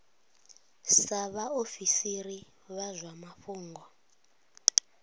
sa vhaofisiri vha zwa mafhungo